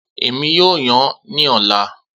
Emi yoo yan ni ọla